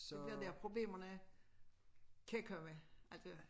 Det bliver der problemerne kan komme altså